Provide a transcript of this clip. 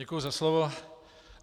Děkuji za slovo.